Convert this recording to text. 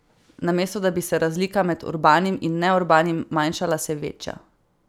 Namesto da bi se razlika med urbanim in neurbanim manjšala, se veča.